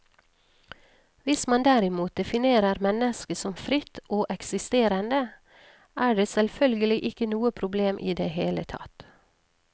Hvis man derimot definerer mennesket som fritt og eksisterende, er det selvfølgelig ikke noe problem i det hele tatt.